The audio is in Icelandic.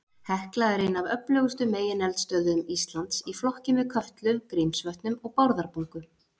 Hekla er ein af öflugustu megineldstöðvum Íslands, í flokki með Kötlu, Grímsvötnum og Bárðarbungu.